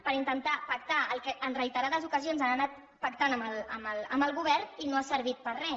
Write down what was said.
per intentar pactar el que en reiterades ocasions han anat pactant amb el govern i no ha servit per a res